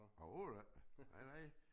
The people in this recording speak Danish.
Overhovedet ikke nej nej